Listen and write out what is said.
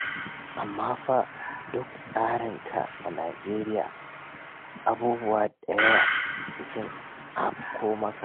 Amma fa duk tsarinka a Najeriya, abubuwa da yawa sai sun afko maka.